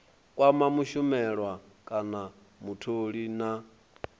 kwama mushumelwa kana mutholi na